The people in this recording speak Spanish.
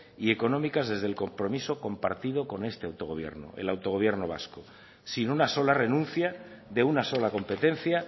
y económicas desde el compromiso compartido con este autogobierno el autogobierno vasco sin una sola renuncia de una sola competencia